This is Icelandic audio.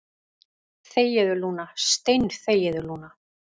Þegiðu, Lúna, steinþegiðu, Lúna.